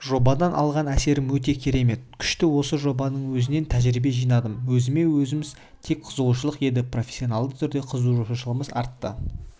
жобадан алған әсерім өте керемет күшті осы жобаның өзінен тәжірибе жинадым өзіме өзім тек қызығушылық еді профессианалды түрде қызығушылығым ашылды